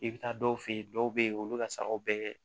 I bɛ taa dɔw fɛ yen dɔw bɛ yen olu bɛ ka sagaw bɛɛ